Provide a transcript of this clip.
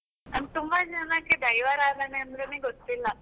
ತುಂಬಾ ಜನಕ್ಕೆ ದೈವಾರಾಧನೆ ಅಂದ್ರೇನೆ ಗೊತ್ತಿಲ್ಲ.